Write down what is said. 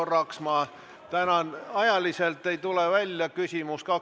Kogu see strateegia, millega ja kunas Eesti ühineb, luuakse, püüdes olla ajakohane.